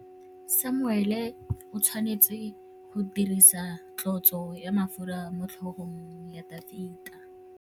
Samuele o tshwanetse go dirisa tlotsô ya mafura motlhôgong ya Dafita.